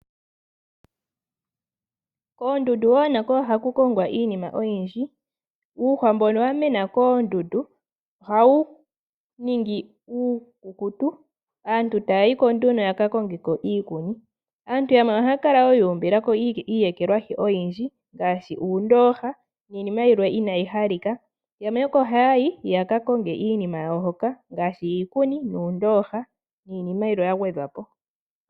Koondundu wo nako ohaku kongwa iinima oyindji. Uuhwa mbono wa mena koondundu ohawu ningi uukukutu, aantu taya yi ko nduno ya ka konge ko iikuni. Aantu yamwe ohaya kala ye ekela ko iiyekelwahi oyindji ngaashi uundooha niinima yilwe inaayi halika. Yamwe oko haya yi yaka konge iinima yawo hoka ngaashi iikuni, uundooha niinima yilwe ya gwedhwa po.